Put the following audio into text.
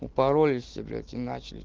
упаролист все блять и начали